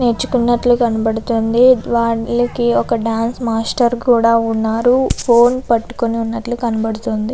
నేర్చుకున్నట్లు కనబడుతుంది. వానికి ఒక డాన్స్ మాస్టర్ కూడా ఉన్నారు. అతని ఫోన్ పట్టుకున్నట్టుగా కనబడుతుంది.